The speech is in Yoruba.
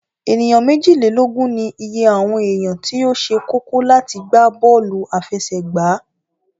Ènìyàn méjìlélógún ní ìye àwọn èèyàn tí ó se kókó láti gbá bọ́lù àfẹsẹ̀gbá